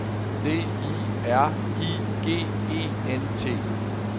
D I R I G E N T